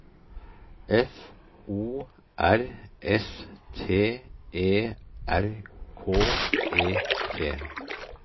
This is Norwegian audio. F O R S T E R K E T